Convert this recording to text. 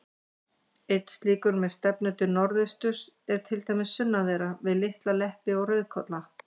Einn slíkur, með stefnu til norðausturs, er til dæmis sunnan þeirra, við Litla-Leppi og Rauðkolla.